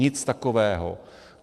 Nic takového.